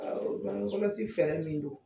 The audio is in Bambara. Ɔ bange kɔlɔsi fɛɛrɛ min don